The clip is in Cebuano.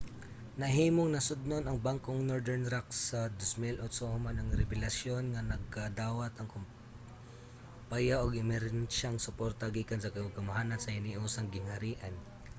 nahimong nasodnon ang bangkong northern rock sa 2008 human ang rebelasyon nga nakadawat ang kumpaya og emerhensiyang suporta gikan sa kagamhanan sa hiniusang gingharian